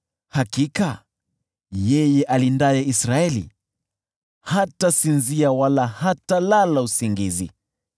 hakika, yeye alindaye Israeli hatasinzia wala hatalala usingizi.